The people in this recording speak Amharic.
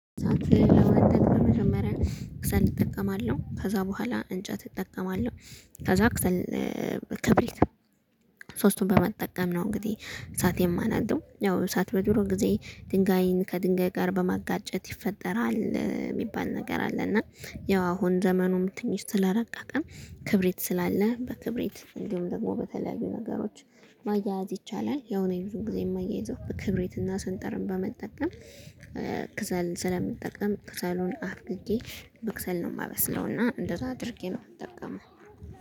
ለማንቀሳቀስ መጀመሪያ ከሰል እጥከማለው ከዛ በኋላ እንጨት እጠቀማለሁ ከዛ ከሰል ክብሪት ሶስቱን በመጠቀም ነው። እንግዲህ እሳት የማነደው ያው እሳት በድሮ ጊዜ ድንጋይን ከድንጋይ ጋር በማጋጨት ይፈጠራል የሚባል ነገር አለ። እና ያው አሁን ዘመኑም ትንሽ ተላረቀቀን ክብሪት ስላለ በክብሪት እንዲሁም ደግሞ በተለያዩ ነገሮች ማያያዝ ይቻላል። ያው እኔም ብዙ ጊዜ የማያይዘው ክብሬትና ስንጥርን በመጠቀም ከሰል ስለምጠቀም ከሰሉን አንድጄ በከሰል ነው የማበስለው። እና እንደዛ አድርጌ ነው የምጠቀመው።